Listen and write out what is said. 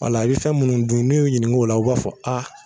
Wala i be fɛn munnu dun n'u y'u ɲinik'o la o b'a fɔ a